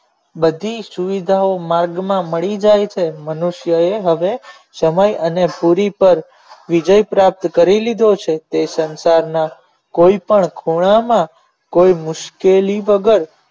બધી સુવિધા ઓ માર્ગ માં મળી જાય છે મનુષ્યોએ હવે સમય અને દુરિપર વિજય પ્રાપ્ત કરી લીધો છે કોઈ સંસાર માં કોઈ પણ ખોળા માં કોઈ મુશ્કેલી વગર